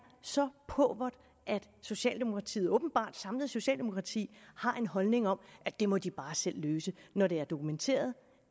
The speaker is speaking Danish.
så pauvert at socialdemokratiet åbenbart et samlet socialdemokrati har en holdning om at det må de bare selv løse når det er dokumenteret